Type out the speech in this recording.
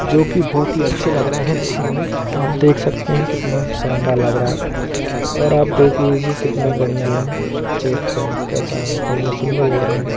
जो कि बहोत ही अच्छे लग रहे हैं देखने में आप देख सकते हैं कितना शानदार लग रहा है और आप देख लीजिए कितना बढ़िया है हो कैसा बढ़िया सुंदर लग रहा है।